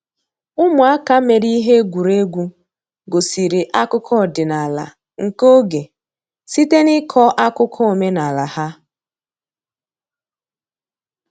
Ụmụaka mere ihe egwuregwu gosiri akụkọ ọdịnala nke oge site n’ịkọ akụkọ omenala ha.